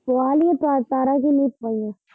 ਪੁਆ ਲਿਆ ਤਾ ਤਾਂਰਾ ਕੀ ਨੀ ਪੁਆਈਆ।